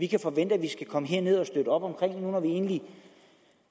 kan forvente at vi skal komme herned og støtte op om når vi egentlig